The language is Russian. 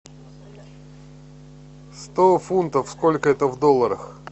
сто фунтов сколько это в долларах